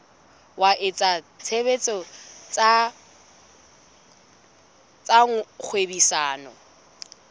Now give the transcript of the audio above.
wa etsa tshebetso tsa kgwebisano